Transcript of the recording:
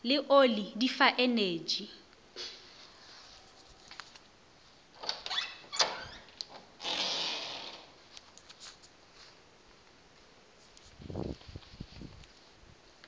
le oli di fa energy